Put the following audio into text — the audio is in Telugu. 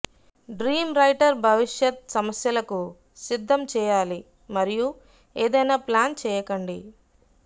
డ్రీం రైటర్ భవిష్యత్ సమస్యలకు సిద్ధం చేయాలి మరియు ఏదైనా ప్లాన్ చేయకండి